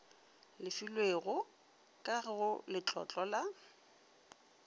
lefilwego ka go letlotlo la